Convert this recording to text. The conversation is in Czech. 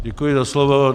Děkuji za slovo.